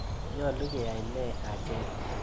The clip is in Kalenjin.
Nyalu keyai ne acheket?